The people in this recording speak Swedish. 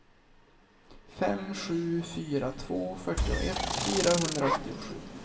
fem sju fyra två fyrtioett fyrahundraåttiosju